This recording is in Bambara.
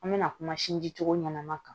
An bɛna kuma sinji cogo ɲanama kan